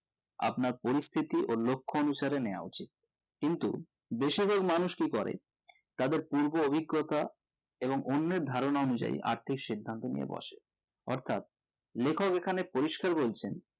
আপনার পরিস্থিতি ও লক্ষ অনুসারে নিও উচিত কিন্তু বেশিরভাগ মানুষ কি করে তাদের পূর্ব অভিজ্ঞতা এবং অন্যের ধারণা অনুযায়ী আর্থিক সিদ্ধান্ত নিয়ে বসে অর্থাৎ লেখক এখানে পরিষ্কার বলছেন